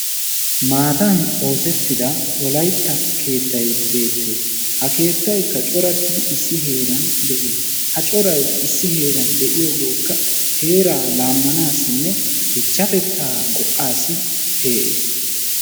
Maatan oosettida wolaytta keettayi beettes. Ha keettaykka corattidi issi keettan de"es. Ha corayi issi heeran de"iyogeekka heeraa laammanaassinne dichchatettaa go"aassi pee"is.